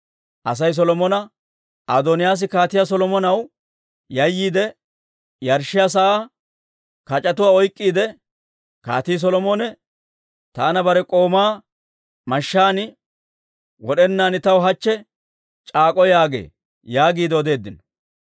Asay Solomona, «Adooniyaas Kaatiyaa Solomonaw yayyiide, yarshshiyaa sa'aa kac'etuwaa oyk'k'iide, Kaatii Solomone taana bare k'oomaa mashshaan wod'enaadan taw hachche c'aak'k'o yaagee» yaagiide odeeddino.